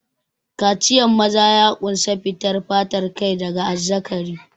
Kaciyan maza ya ƙunsa fitan fatar kai daga azzakari.